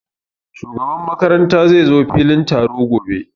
Shugaban makaranta zai zo filin taro gobe